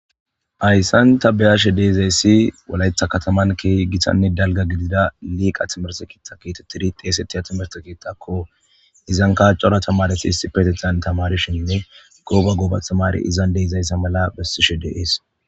hayssan ta beyashe deezayssi walaytha kataman keeh gitanne dalga gidida liiqa timerse kiitta kiitettiri xeesettiha timerte kiittakko izan kaaccora tamaresi his petethan tamarishinne gooba gobatamari izan deezayssa mala bessishe deees